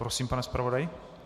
Prosím, pane zpravodaji.